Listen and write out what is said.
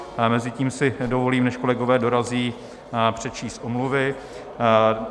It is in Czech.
Mezitím si dovolím, než kolegové dorazí, přečíst omluvy.